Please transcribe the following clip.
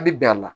A bi bɛn a la